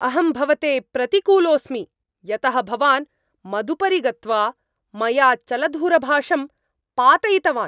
अहं भवते प्रतिकूलोऽस्मि, यतः भवान् मदुपरि गत्वा मया चलदूरभाषं पातयितवान्।